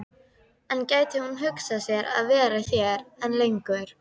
En gæti hún hugsað sér að vera hér enn lengur?